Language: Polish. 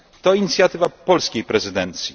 To inicjatywa polskiej prezydencji.